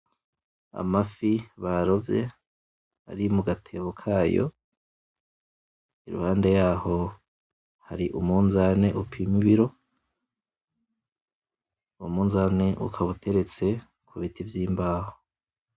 Amafi barovye, ari mugatebo kayo, iruhande yaho hari umunzane upima ibiro. uwo munzane ukaba uteretse kubiti vy' imbaho.